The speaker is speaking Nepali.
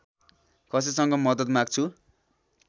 कसैसँग मद्दत माग्छु